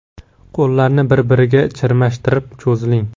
Qo‘llarni bir-biriga chirmashtirib, cho‘ziling.